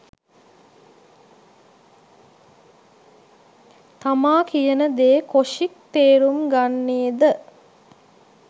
තමා කියනදේ කොෂික් තේරුම් ගන්නේ ද